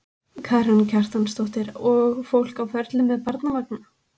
Karen Kjartansdóttir: Og fólk á ferli með barnavagna?